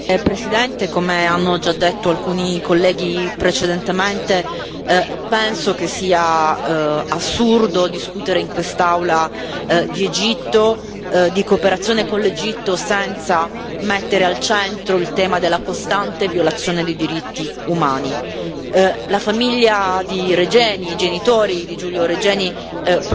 Signor Presidente, onorevoli colleghi, come hanno già detto alcuni colleghi precedentemente, penso che sia assurdo discutere in quest'Aula di Egitto e di cooperazione con l'Egitto senza mettere al centro il tema della costante violazione dei diritti umani. La famiglia di Regeni, i genitori di Giulio Reggiani,